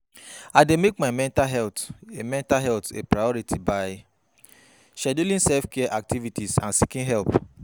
I dey make my mental health a mental health a priority by scheduling self-care activities and seeking help.